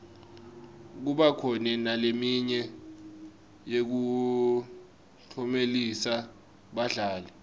kuba khona naleminye yekuklomelisa badlali